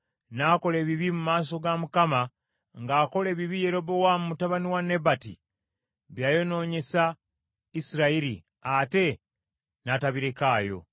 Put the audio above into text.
N’akola ebibi mu maaso ga Mukama ng’akola ebibi Yerobowaamu mutabani wa Nebati bye yayonoonyesa Isirayiri, ate n’atabirekaayo.